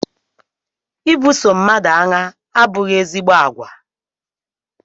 I buso mmadụ agha abụghị ezigbo àgwà